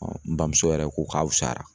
n bamuso yɛrɛ ko k'a wusayara.